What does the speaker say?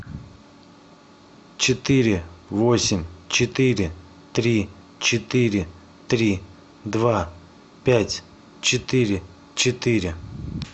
четыре восемь четыре три четыре три два пять четыре четыре